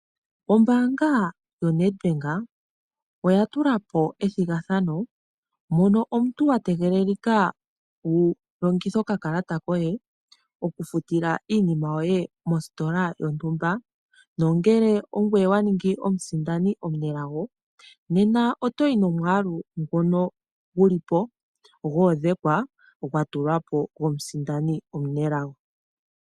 Ombaanga yoNedbank oya tula po ethigathano, mono omuntu wa tegelelika wu longithe okakalata koye okufutila iinima yoye mositola yontumba, nongele ongoye wa ningi omusindani omunelago, nena oto yi nomwaalu ngono gu li po gwa odhekwa, gwa tulwa po gwomusindani omunelago.